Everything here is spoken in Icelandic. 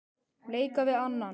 leika við annan